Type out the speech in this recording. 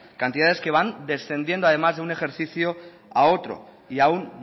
cantidades que van descendiendo además de un ejercicio a otro y aún